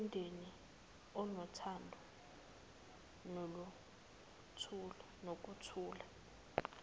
singumndeni onothando nokuthula